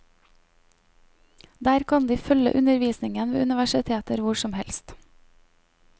Der kan de følge undervisningen ved universiteter hvor som helst.